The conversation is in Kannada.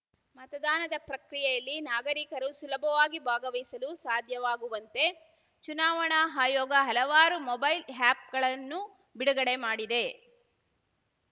ಮತದಾನದ ಪ್ರಕ್ರಿಯೆಯಲ್ಲಿ ನಾಗರಿಕರು ಸುಲಭವಾಗಿ ಭಾಗವಹಿಸಲು ಸಾಧ್ಯವಾಗುವಂತೆ ಚುನಾವಣಾ ಆಯೋಗ ಹಲವಾರು ಮೊಬೈಲ್‌ ಆಯಪ್‌ಗಳನ್ನು ಬಿಡುಗಡೆ ಮಾಡಿದೆ